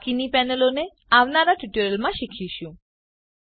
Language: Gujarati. બાકીની પેનલોને આવનારા ટ્યુટોરીયલમાં શીખીશું